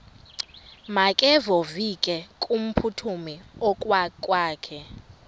makevovike kumphuthumi okokwakhe